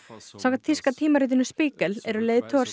samkvæmt þýska tímaritinu Spiegel eru leiðtogar